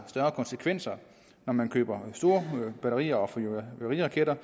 større konsekvenser når man køber store batterier og fyrværkeriraketter